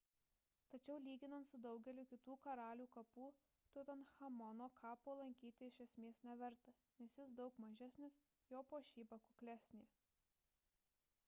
tačiau lyginant su daugeliu kitų karalių kapų tutanchamono kapo lankyti iš esmės neverta nes jis daug mažesnis jo puošyba kuklesnė